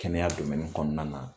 Kɛnɛya kɔnɔna na